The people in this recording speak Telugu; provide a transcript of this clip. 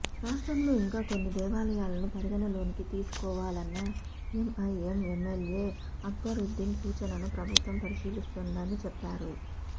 రాష్ట్రంలో ఇంకా కొన్ని దేవాలయాలను పరిగణలోకి తీసుకోవాలన్న ఎంఐఎం ఎమ్మెల్యే అక్బరుద్దీన్ సూచనను ప్రభుత్వం పరిశీలిస్తుందని చెప్పారు